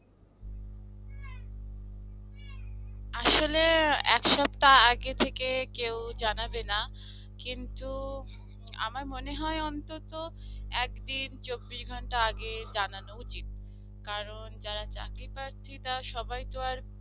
আসলে এক সপ্তাহ আগে থেকে কেউ জানাবে না কিন্তু আমার মনে হয় অন্তত একদিন চব্বিশ ঘন্টা আগে জানানো উচিত। কারণ যারা চাকরিপ্রার্থী তারা সবাই